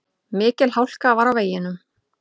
Mikil hálka var á veginum.